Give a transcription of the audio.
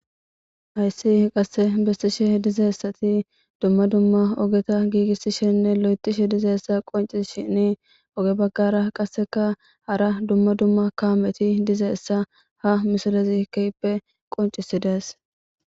Hayssi qasse bessishe dizaessati dumma dumma ogeta giigissishenne lo7etishe dizaessa qonci shini oge baggara qasseka hara dumma dumma kaameti dizeessa ha misolezi keppe qoncisidees